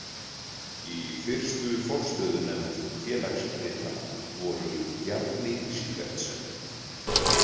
Í fyrstu forstöðunefnd félagsritanna voru Bjarni Sívertsen.